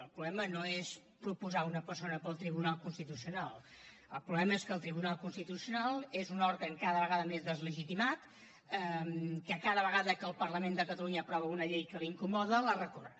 el problema no és proposar una persona per al tribunal constitucional el problema és que el tribunal constitucional és un òrgan cada vegada més deslegitimat que cada vegada que el parlament de catalunya aprova una llei que l’incomoda la recorre